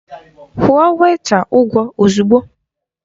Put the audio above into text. Kwụọ wèịta ụgwọ ozugbo!